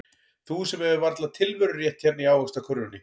Þú sem hefur varla tilverurétt hérna í ávaxtakörfunni.